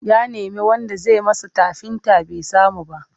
Ya nemi wanda zai masa tafinta bai samu ba.